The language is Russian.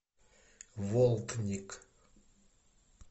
волтник